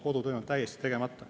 Kodutöö on täiesti tegemata.